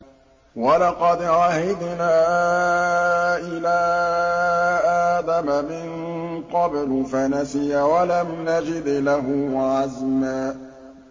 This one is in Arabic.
وَلَقَدْ عَهِدْنَا إِلَىٰ آدَمَ مِن قَبْلُ فَنَسِيَ وَلَمْ نَجِدْ لَهُ عَزْمًا